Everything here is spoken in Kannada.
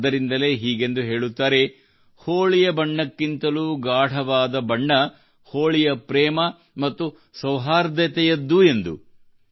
ಆದ್ದರಿಂದಲೇ ಹೀಗೆಂದು ಹೇಳುತ್ತಾರೆ ಹೋಳಿಯ ಬಣ್ಣಕ್ಕಿಂತಲೂ ಗಾಢವಾದ ಬಣ್ಣ ಹೋಳಿಯ ಪ್ರೇಮ ಮತ್ತು ಸೌಹಾರ್ದದ್ದು ಎಂದು